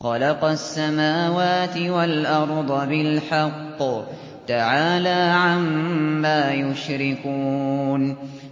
خَلَقَ السَّمَاوَاتِ وَالْأَرْضَ بِالْحَقِّ ۚ تَعَالَىٰ عَمَّا يُشْرِكُونَ